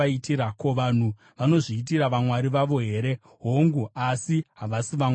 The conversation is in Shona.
Ko, vanhu vanozviitira vamwari vavo here? Hongu, asi havasi vamwari!”